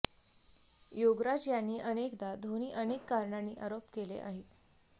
योगराज यांनी अनेकदा धोनी अनेक कारणांनी आरोप केले आहे